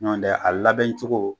Ɲɔntɛ a labɛn cogo